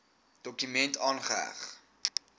dokument aangeheg